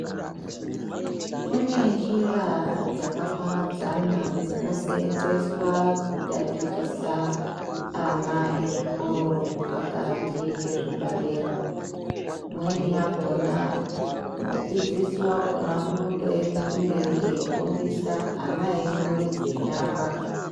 Kune njira dzakaparadzana dzinosenzeswa kutatichisa ana ezvikoro zvikoro zvepakati ngezvepadera. imweni yakona mudzidzisi vakona unotoeme kumberi eifundisa ana emwarudze nyara.